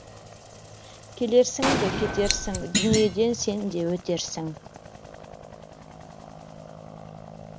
келерсің де кетерсің дүниеден сен де өтерсің